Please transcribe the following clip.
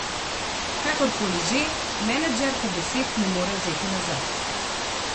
Kakorkoli že, menedžerka besed ne more vzeti nazaj.